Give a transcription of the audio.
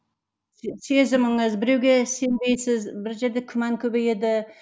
сезіміңіз біреуге сенбейсіз бір жерде күмән көбейеді